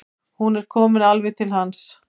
Hún er komin alveg til hans.